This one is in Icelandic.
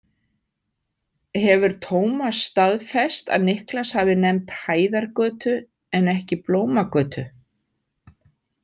Hefur Tómas staðfest að Niklas hafi nefnt Hæðargötu en ekki Blómagötu?